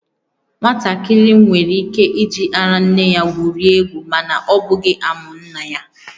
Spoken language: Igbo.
Nwatakịrị nwere ike iji ara nne ya gwurie egwu, mana ọ bụghị amụ nna ya